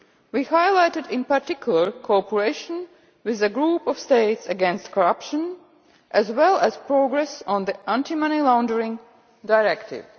We highlighted, in particular, cooperation with the Group of States against Corruption as well as progress on the Anti Money Laundering Directive.